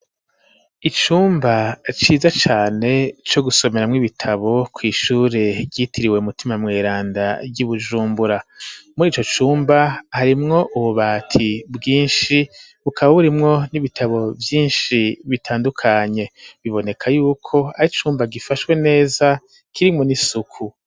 Icumba ciza cane co gusomeramwo ibitabo kw'ishure ryitiriwe u mutima mweranda ry'ibujumbura, murico cumba harimwo ububati bwinshi bukaba burimwo n'ibitabo vyinshi bitandukanye biboneka yuko ari icumba gifashwe neza kirimwo n’isuku.